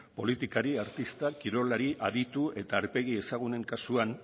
politikari artistak kirolari aditu eta aurpegi ezagunen kasuan